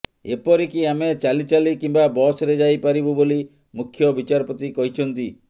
ଏପରିକି ଆମେ ଚାଲି ଚାଲି କିମ୍ୱା ବସରେ ଯାଇ ପାରିବୁ ବୋଲି ମୁଖ୍ୟ ବିଚାରପତି କହିଛନ୍ତି